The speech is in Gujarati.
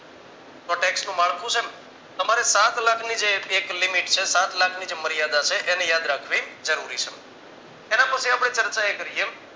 તો tax નું માળખું છે તમારે સાતલાખની એક limit છે સતલાખની જે મર્યાદા છે એને યાદ રાખવી જરૂરી છે. એના પરથી આપણે ચર્ચા એ કરીએ